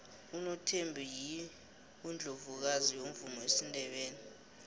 unothembi yiundlovukazi yomvumo wesindebele